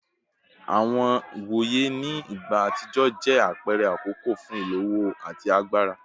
Iwoye ni igba atijọ jẹ apẹrẹ akọkọ fun ilowo ati agbara